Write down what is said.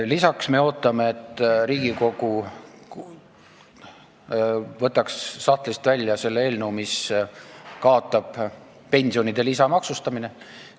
Lisaks me ootame, et Riigikogu võtaks sahtlist välja eelnõu, mis kaotab pensionide lisamaksustamise.